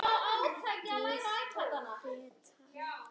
Gil hét hann.